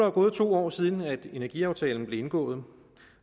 jo gået to år siden energiaftalen blev indgået